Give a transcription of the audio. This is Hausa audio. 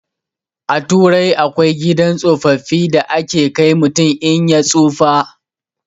A turai akwai gidan tsofaffi da ake kai mutum in ya tsufa